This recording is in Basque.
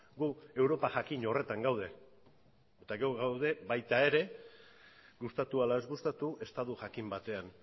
gu europa jakin horretan gaude eta gu gaude baita ere gustatu ala ez gustatu estatu jakin batean